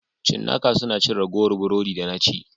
Cinnaka suna cin ragowar burodi da na ci.